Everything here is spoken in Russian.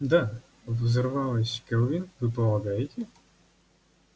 да взорвалась кэлвин вы полагаете